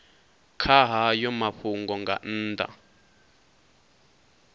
kha hayo mafhungo nga nnḓa